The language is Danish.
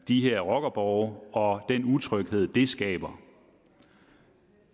de her rockerborge og den utryghed de skaber